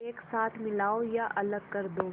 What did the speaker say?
एक साथ मिलाओ या अलग कर दो